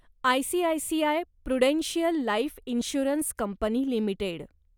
ICICI prudential life insurance company limited